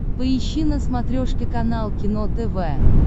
поищи на смотрешке канал кино тв